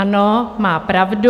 Ano, má pravdu.